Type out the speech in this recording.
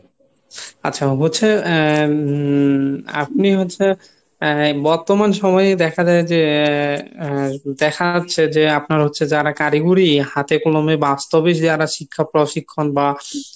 আচ্ছা হচ্ছে উম আপনি হচ্ছে আহ বর্তমান সময়ে দেখা যায় যে আহ দেখা যাচ্ছে যে আপনারা হচ্ছে যারা কারিগরি হাতে কলমে বাস্তবে যারা শিক্ষা প্রশিক্ষণ বা